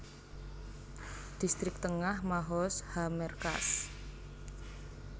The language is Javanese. Distrik Tengah Mahoz HaMerkaz